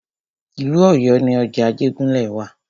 Ìlú Ọ̀yọ́ ni ọjà Ajégúnlẹ̀ wa.